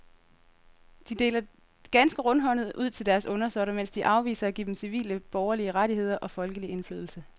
De deler ganske rundhåndet ud til deres undersåtter, mens de afviser at give dem civile borgerlige rettigheder og folkelig indflydelse.